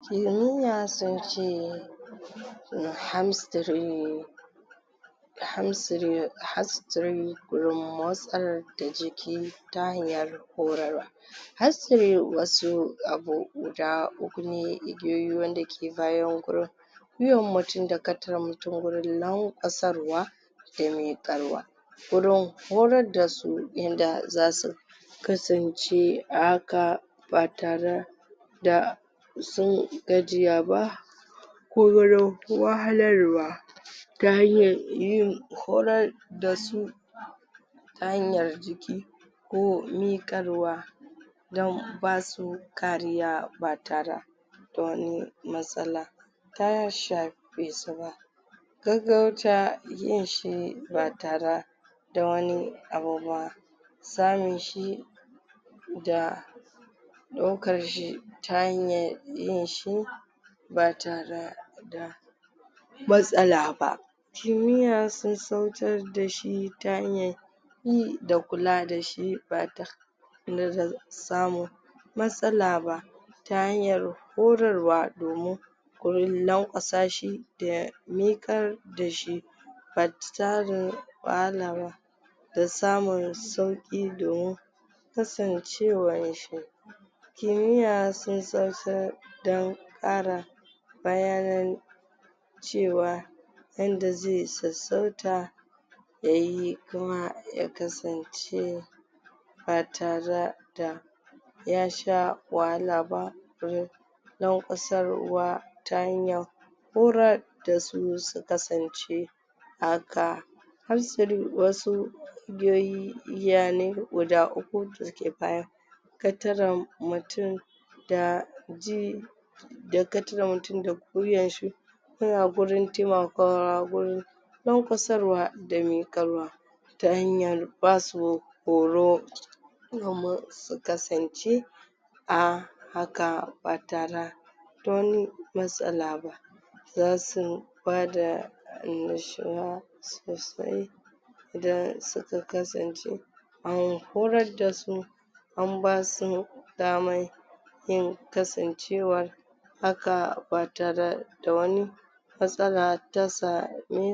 Kimiya sun ce gurin motsar da jiki ta hanyar horarwa wasu abu guda uku ne igiyoyi wanda ke bayan gurin gwiwan mutum da mutum gurin lanƙwasarwa da miƙarwa gurin mayar dasu yanda zasu kasance a haka ba tara da sun gajiya ba ko wurin wahalarwa ta hanyar yin horar da su ta hanyar jiki ko miƙarwa don basu kariya ba tara da wani matsala ta shafe su ba gaggauta ba tara da wani abu ba samun shi da ɗaukar shi ta hanyar yin shi ba tara da matsala ba ta hanyar yi da kula da shi samun matsala ba ta hanyar horarwa domin gurin lanƙwasa shi da miƙar da shi ba wahala ba da samun sauƙi domin kasancewar shi kimiyya sun dan ƙara bayanan cewa yanda ze sassauta yayi kuma ya kasance ba tara da ya sha wahala ba wurin lanƙwasarwa ta hanyar horar ta su su kasance haka wasu igiyoyi igiya ne guda uku da ke fara mutum da ji kataren mutum da gwiwan shi yana gurin temakawa gurin lanƙwasarwa da miƙarwa ta hanyar basu horo domin su kasance a haka ba tara da wani matsala ba zasu bada annashuwa sosai idan suka kasance an horar da su an basu daman kasancewa haka ba tara da wani matsala ta samu.